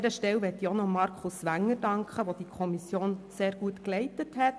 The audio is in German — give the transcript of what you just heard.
An dieser Stelle möchte ich Markus Wenger danken, der die Kommission sehr gut geleitet hat.